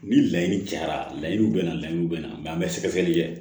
Ni laɲini cayara laɲiniw bɛ na layiw bɛ na mɛ an bɛ sɛgɛsɛgɛli kɛ